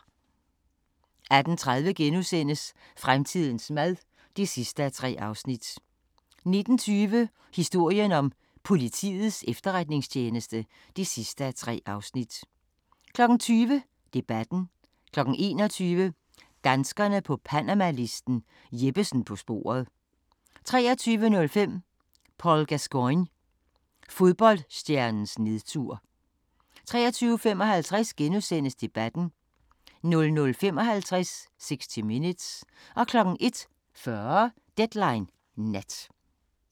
18:30: Fremtidens mad (3:3)* 19:20: Historien om Politiets Efterretningstjeneste (3:3) 20:00: Debatten 21:00: Danskerne på panamalisten – Jeppesen på sporet 23:05: Paul Gascoigne – fodboldstjernens nedtur 23:55: Debatten * 00:55: 60 Minutes 01:40: Deadline Nat